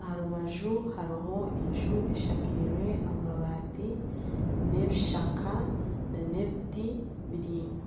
aha rubaju hariho enju eshakirwe amabaati n'ebishaka n'ebiti biraingwa